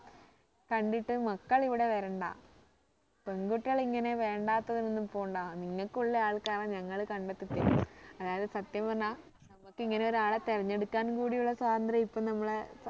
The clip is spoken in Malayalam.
കണ്ടിട്ട് മക്കൾ ഇവിടെ വരണ്ട പെൺകുട്ടികൾ ഇങ്ങനെ വേണ്ടാത്തതിന് ഒന്നും പോണ്ട നിങ്ങക്ക് ഉള്ള ആൾക്കാരെ ഞങ്ങൾ കണ്ടെത്തി തരും അതായത് സത്യം പറഞ്ഞാ നമ്മക്ക് ഇങ്ങനെ ഒരാളെ തിരഞ്ഞ് എടുക്കാൻ കൂടി ഉള്ള സ്വാതന്ത്രം ഇപ്പോ നമ്മളെ